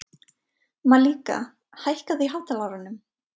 Malika, hækkaðu í hátalaranum.